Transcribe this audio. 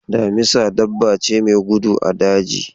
Damisa dabba ce mai gudu a daji.